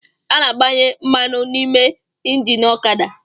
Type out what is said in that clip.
A na-agbanye mmanụ n’ime engini ọkada